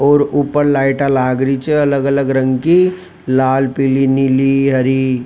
और ऊपर लाइट लाग रही छ अलग अलग रंग की लाल पीली नीली हरी --